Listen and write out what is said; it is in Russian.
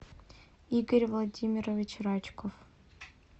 игорь владимирович рачков